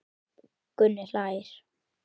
Gunni hlær.